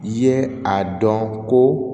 I ye a dɔn ko